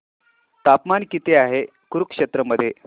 तापमान किती आहे कुरुक्षेत्र मध्ये